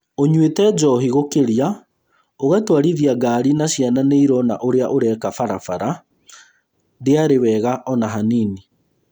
‘ũnyuĩte njohi gũkĩria, ũgatwarithia ngari na ciana nĩirona ũrĩa ũreka Barabara, ndĩarĩ wega ona hanini’’